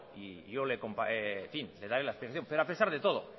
y yo le daré la explicación pero a pesar de todo